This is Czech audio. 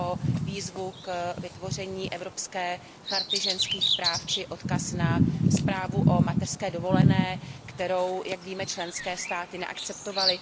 o výzvu k vytvoření evropské charty ženských práv či odkaz na zprávu o mateřské dovolené, kterou, jak víme, členské státy neakceptovaly.